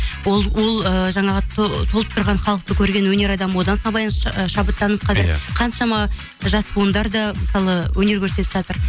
ол ыыы жаңағы толып тұрған халықты көрген өнер адамы одан шабыттанып қазір қаншама жас буындар да мысалы өнер көрсетіп жатыр